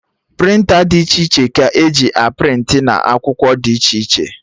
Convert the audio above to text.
Prịnta dị iche iche ka eji a prịntị na akwụkwọ dị iche iche